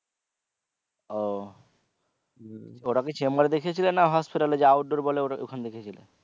ও ওটা কি chamber দেখিয়েছিলে না hospital এর যে outdoor বলে ওখানে দেখিয়েছিলে?